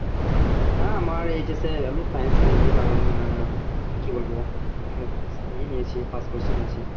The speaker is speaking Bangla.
হ্যা আমার আমি science নেয়নি কারন আহ কি বলবো আহ কি নিয়েছি